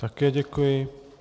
Také děkuji.